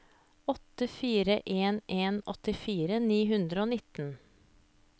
åtte fire en en åttifire ni hundre og nitten